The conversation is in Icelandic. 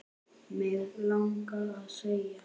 Mig langaði að segja